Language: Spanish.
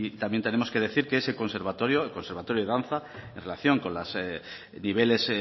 también tenemos que decir que se conservatorio el conservatorio de danza en relación con los niveles